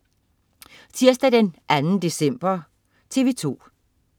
Tirsdag den 2. december - TV2: